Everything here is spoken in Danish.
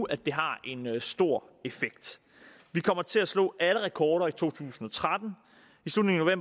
at det har en stor effekt vi kommer til at slå alle rekorder i to tusind og tretten i slutningen af